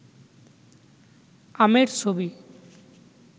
আমের ছবি